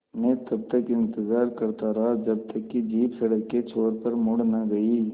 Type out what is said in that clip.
मैं तब तक इंतज़ार करता रहा जब तक कि जीप सड़क के छोर पर मुड़ न गई